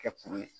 Kɛ kuru ye